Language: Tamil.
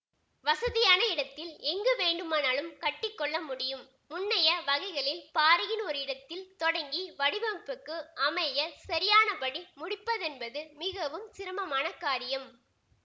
வசதியான இடத்தில் எங்கு வேண்டுமானாலும் கட்டிக்கொள்ள முடியும் முன்னைய வகைகளில் பாறையின் ஓரிடத்தில் தொடங்கி வடிவமைப்புக்கு அமையச் சரியானபடி முடிப்பதென்பது மிகவும் சிரமமான காரியம்